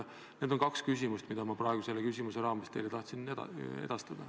Need on kaks küsimust, mis ma praegu selle küsimuse raames teile tahtsin edastada.